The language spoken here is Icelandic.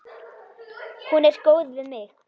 Hún er góð við mig.